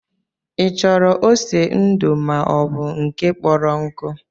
Ị chọrọ ose ndu maọbụ nke kpọrọ nkụ